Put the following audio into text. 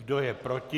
Kdo je proti.